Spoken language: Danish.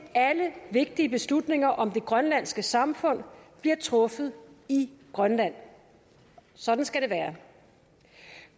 alle vigtige beslutninger om det grønlandske samfund bliver truffet i grønland sådan skal det være